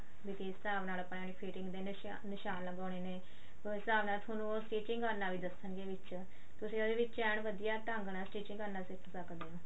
ਵੀ ਕਿਸ ਹਿਸਾਬ ਨਾਲ ਆਪਾਂ ਇਹ fitting ਦੇ ਨਿਸ਼ਾਨ ਲਗਾਨੇ ਨੇ ਉਸ ਹਿਸਾਬ ਨਾਲ ਉਹ ਤੁਹਾਨੂੰ stitching ਕਰਨਾ ਵੀ ਦੱਸਣਗੇ ਵਿੱਚ ਤੁਸੀਂ ਉਹਦੇ ਵਿੱਚ ਐਨ ਵਧੀਆ ਤਰੀਕੇ ਨਾਲ stitching ਕਰਨਾ ਸਿੱਖ ਸਕਦੇ ਓ